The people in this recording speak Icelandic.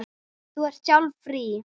Þú ert sjálf í fríi.